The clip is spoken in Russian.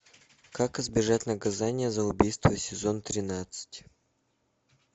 как избежать наказания за убийство сезон тринадцать